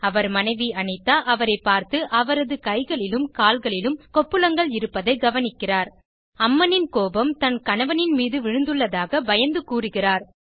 அவர் மனைவி அனிதா அவரை பார்த்து அவரது கைகளிலும் கால்களிலும் கொப்புளங்களை கவனிக்கிறார் அம்மனின் கோபம் தன் கணவனின் மீது விழுந்துள்ளதாக பயந்து கூறிகிறார்